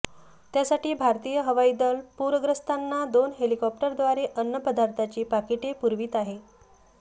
त्यासाठी भारतीय हवाई दल पूरग्रस्तांना दोन हेलिकॉप्टरद्वारे अन्न पदार्थाची पाकिटे पुरवित आहे